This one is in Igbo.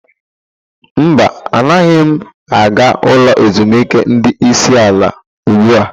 Mba, anaghị m aga ulo ezimuike ndi isi ala ugbu a.